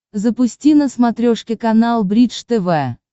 запусти на смотрешке канал бридж тв